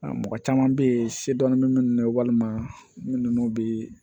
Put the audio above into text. Mɔgɔ caman bɛ yen se dɔɔni bɛ minnu na walima minnu bɛ